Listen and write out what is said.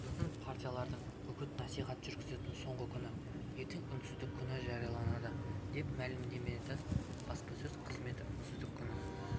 бүгін партиялардың үгіт-насихат жүргізетін соңғы күні ертең үнсіздік күні жарияланады деп мәлімдеді баспасөз қызметі үнсіздік күні